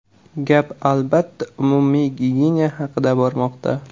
Gap albatta, umumiy gigiyena haqida bormoqda.